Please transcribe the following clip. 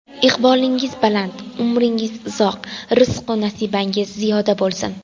Iqbolingiz baland, umringiz uzoq, rizqu nasibangiz ziyoda bo‘lsin!